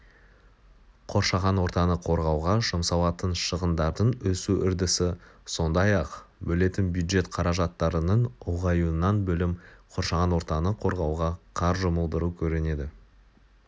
қоршаған ортаны қорғауға жұмсалатын шығындардың өсу үрдісі сондай-ақ бөлетін бюджет қаражаттарының ұлғаюынан бөлім қоршаған ортаны қорғауға қар жұмылдыру көрінеді